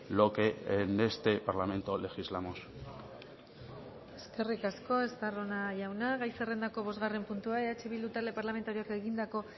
lo que en este parlamento legislamos eskerrik asko estarrona jauna gai zerrendako bosgarren puntua eh bildu talde parlamentarioak egindako